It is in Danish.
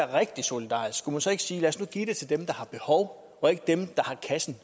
rigtig solidarisk skulle man så ikke sige lad os nu give til dem der har behov og ikke til dem der har kassen